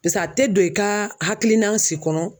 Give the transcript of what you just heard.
Pese a tɛ don i ka hakilila si kɔnɔ.